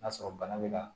N'a sɔrɔ bana bɛ na